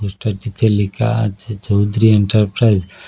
পোস্টারটিতে লেখা আছে চৌধুরী এন্টারপ্রাইজ ।